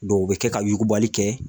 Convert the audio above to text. o bɛ kɛ ka yugubali kɛ